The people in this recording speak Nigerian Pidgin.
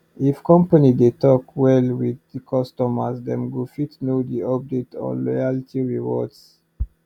if company dey talk well with customers dem go fit know the update on loyalty rewards